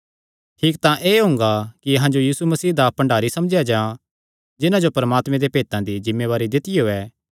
ठीक तां एह़ हुंगा कि अहां जो यीशु मसीह दा भण्डारी समझेया जां जिन्हां जो परमात्मे दे भेतां दी जिम्मेवारी दित्तियो ऐ